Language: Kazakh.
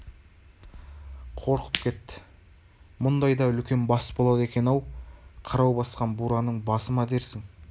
қорқып кетті мұндай да үлкен бас болады екен-ау қырау басқан бураның басы ма дерсің